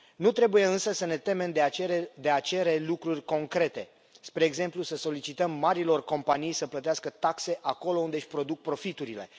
Nu trebuie însă să ne temem de a cere lucruri concrete, spre exemplu, să solicităm marilor companii să plătească taxe acolo unde își produc profiturile.